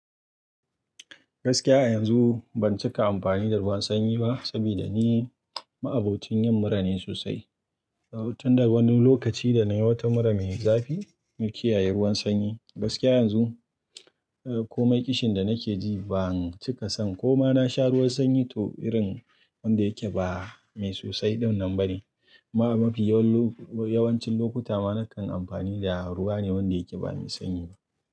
Gaskiya a yanzu ban cika amfani da ruwan sanyi ba, saboda ni ma'abocin yin mura ne sosai. Tun daga wani lokaci da na yi wata mura mai zafi, na kiyaye ruwan sanyi. Gaskiya yanzu, komai kishin da nake ji ban cika son ko ma na sha ruwan sanyi to irin wanda yake ba mai sosai dinnan ba ne. Ma'amafi yawan lo yawanci lokuta ma na kan amfani da ruwa ne wanda yake ba mai sanyi ba.